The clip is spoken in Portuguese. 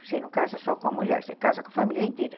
Você não casa só com a mulher, você casa com a família inteira.